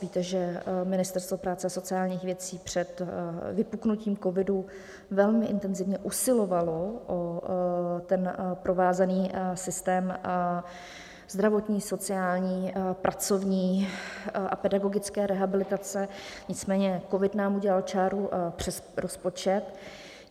Víte, že Ministerstvo práce a sociálních věcí před vypuknutím covidu velmi intenzivně usilovalo o provázaný systém zdravotní, sociální, pracovní a pedagogické rehabilitace, nicméně covid nám udělal čáru přes rozpočet.